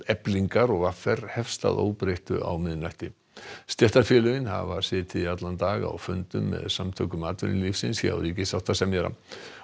Eflingar og v r hefst að óbreyttu á miðnætti stéttarfélögin hafa setið í allan dag á fundum með Samtökum atvinnulífsins hjá ríkissáttasemjara